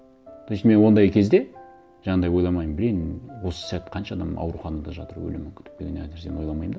то есть мен ондай кезде жаңағындай ойламаймын блин осы сәт қанша адам ауруханада жатыр өлімін күтіп деген әр нәрсені ойламаймын да